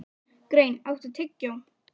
Grein, áttu tyggjó?